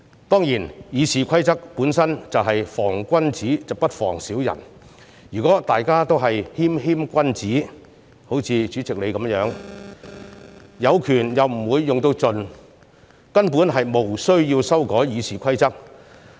當然，《議事規則》本身是防君子不防小人，如果大家也是謙謙君子——好像主席一樣——有權又不會用盡，根本無須修改《議事規則》。